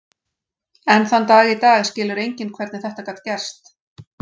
Enn þann dag í dag skilur enginn hvernig þetta gat gerst.